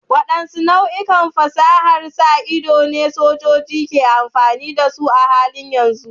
Waɗanne nau'ikan fasahar sa ido ne sojoji ke amfani da su a halin yanzu?